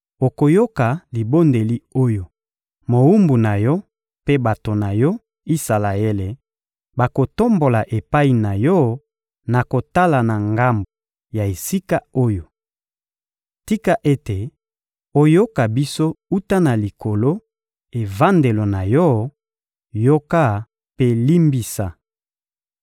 Okoyoka libondeli oyo mowumbu na Yo mpe bato na Yo, Isalaele, bakotombola epai na Yo na kotala na ngambo ya esika oyo! Tika ete oyoka biso wuta na Likolo, evandelo na Yo; yoka mpe limbisa!